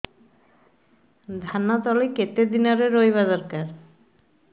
ଧାନ ତଳି କେତେ ଦିନରେ ରୋଈବା ଦରକାର